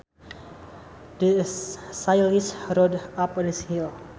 The cyclist rode up the hill